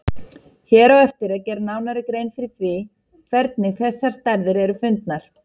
Hér á eftir er gerð nánari grein fyrir því hvernig þessar stærðir eru fundnar.